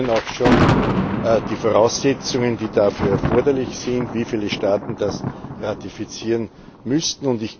Wir kennen auch schon die Voraussetzungen, die dafür erforderlich sind, wie viele Staaten das ratifizieren müssten.